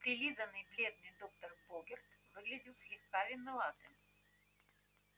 прилизанный бледный доктор богерт выглядел слегка виноватым